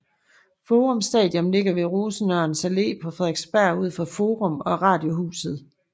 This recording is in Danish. Forum Station ligger ved Rosenørns Allé på Frederiksberg ud for Forum og Radiohuset